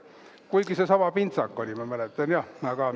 Kuigi seesama pintsak oli, ma mäletan, jah.